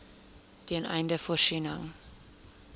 ten einde voorsiening